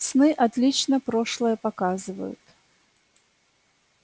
сны отлично прошлое показывают